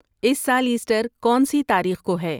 اس سال ایسٹر کونسی تاریخ کو ہے